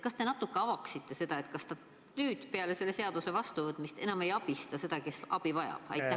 Kas te natuke avaksite seda, kas nüüd, peale selle seaduse vastuvõtmist, enam ei abistata seda, kes abi vajab?